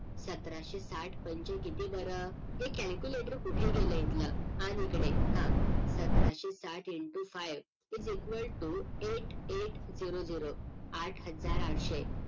सतराशे साठ पंचे किती बरं ए calculator कुठं गेलं हितल? आन हिकडे हा सतराशे साठ into five is equal to eight eight zero zero आठ हजार आठशे